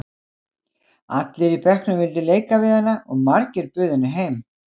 Allir í bekknum vildu leika við hana og margir buðu henni heim.